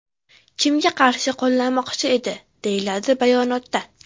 Kimga qarshi qo‘llamoqchi edi?”, deyiladi bayonotda.